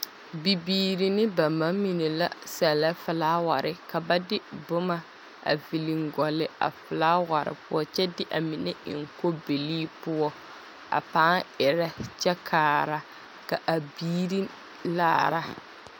Bibiiri ne ba mamine la sɛllɛ felaaware. Ka ba de boma a viliŋ gɔlle a felaaware poɔ kyɛ de a mine kyɛ de a mine eŋ kobilii poɔ a paa erɛ kyɛkaara ka a biiri laara.